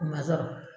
U ma sɔrɔ